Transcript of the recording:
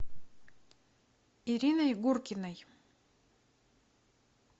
ириной гуркиной